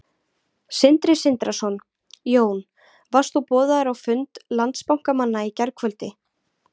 Sindri Sindrason: Jón, varst þú boðaður á fund Landsbankamanna í gærkvöldi?